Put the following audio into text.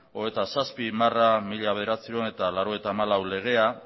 hogeita zazpi barra mila bederatziehun eta laurogeita hamalau legea